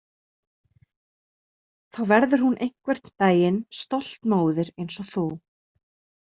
Þá verður hún einhvern daginn stolt móðir eins og þú